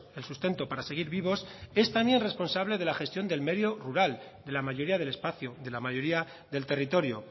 el sustento para seguir vivos es también responsable de la gestión del medio rural de la mayoría del espacio de la mayoría del territorio